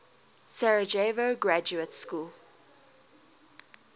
sarajevo graduate school